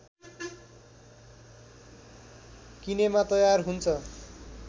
किनेमा तयार हुन्छ